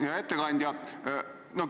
Hea ettekandja!